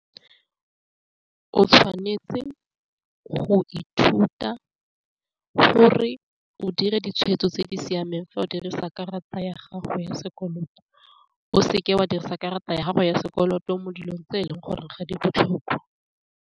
O tshwanetse go ithuta gore o dire ditshwetso tse di siameng fa o dirisa karata ya gago ya sekoloto, o seke wa dirisa karata ya gago ya sekoloto mo dilong tse e leng gore ga di botlhokwa.